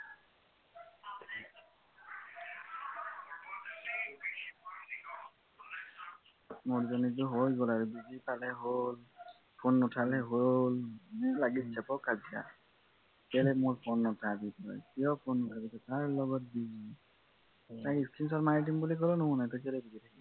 মোৰজনীটো হৈ গল আৰু বুজি পালে হল phone নুঠালে হল এনেই লাগি অকল কাজিয়া কেলে মোৰ phone নুঠাবি কিয় phone নুঠাব কাৰ লগত busy তাই screenshot মাৰি দিম বুলি কলেও নুশুনে